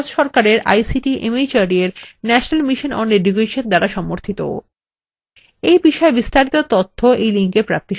এটি ভারত সরকারের ict mhrd এর national mission on education দ্বারা সমর্থিত